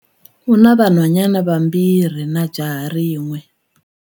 U na vanhwanyana vambirhi na jaha rin'we.